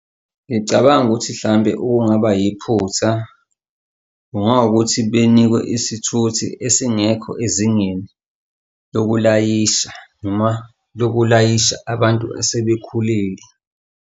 Ngicabanga ukuthi hlampe okungaba yiphutha kungawukuthi benikwe isithuthi esingekho ezingeni lokulayisha noma lokulayisha abantu asebekhulile.